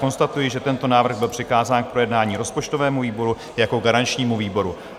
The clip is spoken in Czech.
Konstatuji, že tento návrh byl přikázán k projednání rozpočtovému výboru jako garančnímu výboru.